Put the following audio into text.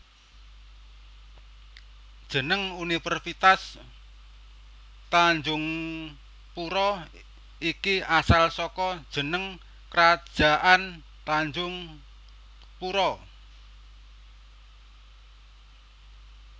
Jeneng Universitas Tanjungpura iki asal saka jeneng Krajaan Tanjungpura